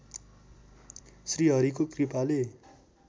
श्रीहरिको कृपाले